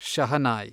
shehnai